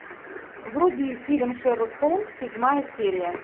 вруби фильм шерлок холмс седьмая серия